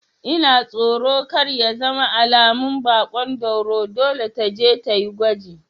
Ina tsoro kar ya zama alamun baƙon dauro, dole taje tayi gwaji